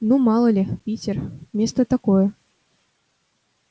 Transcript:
ну мало ли питер место такое